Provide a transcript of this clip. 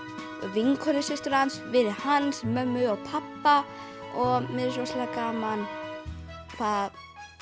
vinkonu systur hans vinum hans mömmu og pabba og mér finnst rosalega gaman hvað